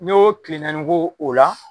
N'i yo kile naani ko o la